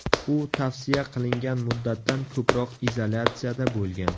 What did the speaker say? U tavsiya qilingan muddatdan ko‘proq izolyatsiyada bo‘lgan.